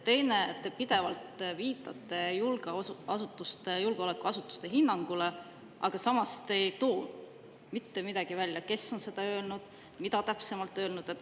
Teiseks, te pidevalt viitate julgeolekuasutuste hinnangule, aga samas ei too te välja, kes on öelnud ja mida täpsemalt öelnud.